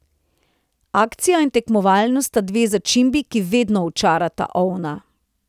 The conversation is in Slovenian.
Akcija in tekmovalnost sta dve začimbi, ki vedno očarata ovna.